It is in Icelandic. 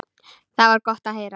Það var gott að heyra.